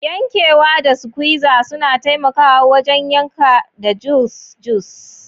Yankewa da squizer suna taimakawa wajen yankan da juice juice.